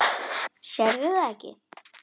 Sérðu það ekki?